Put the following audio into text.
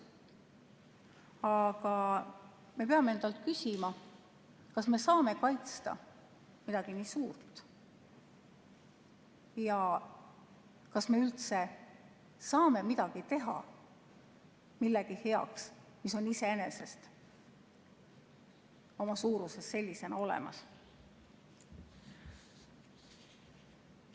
Aga me peame endalt küsima, kas me saame kaitsta midagi nii suurt ja kas me üldse saame midagi teha millegi heaks, mis on iseenesest oma suuruses sellisena olemas.